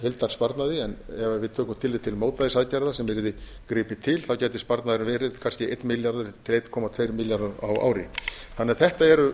heildarsparnaði en ef við tökum tillit til mótvægisaðgerða sem yrði gripið til gæti sparnaðurinn verið kannski einn milljarður til einn komma tvo milljarða á ári þannig að þetta eru